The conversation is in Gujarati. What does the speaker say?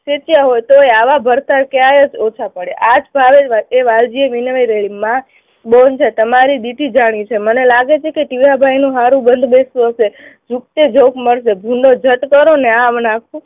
હોય તોય આવા ભડ્થા ક્યાય ઓછા પડે. આ જ વાત એ વાલજીને માં બોલશે. તમારી દીથી જાણ્યું છે. મને લાગે છે કે ટીહાભાઈનું સારું બંધબેસતું હશે મળશે.